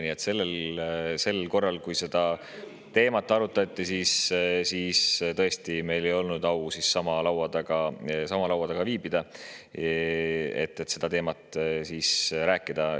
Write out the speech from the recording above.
Nii et sellel korral, kui seda teemat arutati, meil ei olnud au sama laua taga viibida, et sellel teemal rääkida.